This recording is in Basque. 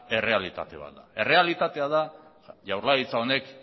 errealitate bat da errealitatea da jaurlaritza honek